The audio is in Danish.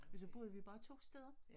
Og så boede vi bare 2 steder